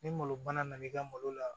Ni malo bana nana i ka malo la